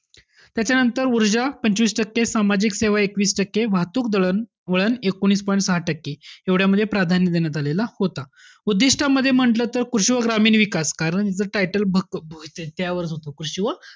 त्याच्यानंतर ऊर्जा पंचवीस टक्के, सामाजिक सेवा एकवीस टक्के, वाहतूक दळणवळण एकोणीस point सहा टक्के. एवढ्यामध्ये प्राधान्य देण्यात आलेला होता. उद्दिष्टामध्ये म्हणलं तर कृषी व ग्रामीण विकास कारण याच title त्यावरच होतं, कृषी व,